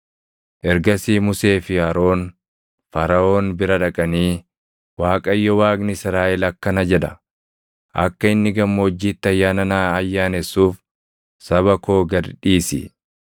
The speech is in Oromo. Ergasii Musee fi Aroon Faraʼoon bira dhaqanii, “ Waaqayyo Waaqni Israaʼel akkana jedha; ‘Akka inni gammoojjiitti ayyaana naa ayyaanessuuf saba koo gad dhiisi.’ ”